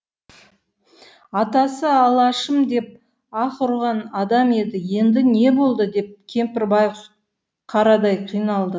атасы алашым деп аһ ұрған адам еді енді не болды деп кемпір байғұс қарадай қиналды